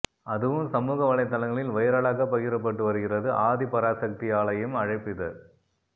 அதுவும் சமூக வலைத்தளங்களில் வைரலாக பகிரப்பட்டு வருகிறது ஆதி பராசாக்தி ஆலயம் அழைப்பிதழ்